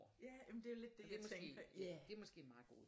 Ja men det er lidt det jeg tænkte på ja